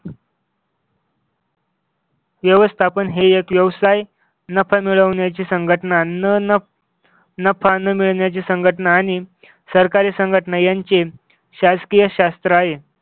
व्यवस्थापन हे एक व्यवसाय नफा मिळवण्याची संघटना नफा अन्न मिळण्याची संघटना आणि सरकारी संघटना यांची शासकीय शास्त्र आहे.